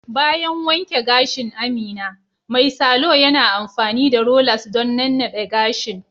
Bayan wanke gashin Amina, mai salo yana amfani da rollers don nannade gashin